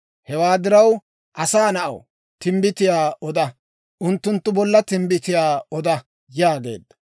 Hewaa diraw, asaa na'aw, timbbitiyaa oda! Unttunttu bolla timbbitiyaa oda!» yaageedda.